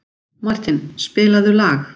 Martin, spilaðu lag.